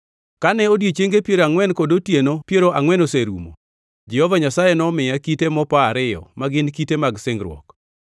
Kane odichienge piero angʼwen kod otieno piero angʼwen oserumo, Jehova Nyasaye nomiya kite mopa ariyo, ma gin kite mag singruok.